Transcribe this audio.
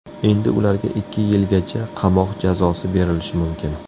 Endi ularga ikki yilgacha qamoq jazosi berilishi mumkin.